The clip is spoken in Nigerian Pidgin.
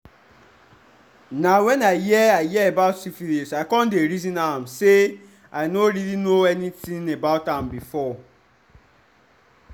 na when i hear i hear about syphilis i come the reason am say i no really know anything about am before